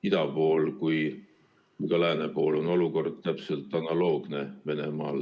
Ida pool ja lääne pool on olukord Venemaal analoogne.